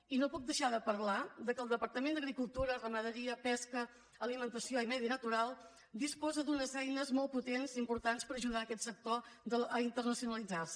i no puc deixar de parlar del fet que el departament d’agricultura ramaderia pesca alimentació i medi natural disposa d’unes eines molt potents i importants per ajudar aquest sector a internacionalitzar se